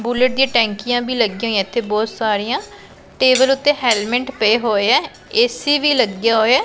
Bullet ਦੀ ਟੈਂਕੀਆਂ ਭੀ ਲੱਗੀਆਂ ਹੋਈਐਂ ਇੱਥੇ ਬਹੁਤ ਸਾਰੀਆਂ ਟੇਬਲ ਉੱਤੇ ਹੈਲਮਟ ਪਏ ਹੋਏ ਐ ਏ_ਸੀ ਵੀ ਲੱਗਿਆ ਹੋਇਐ।